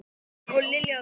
Jóhanna og Lilja Rún.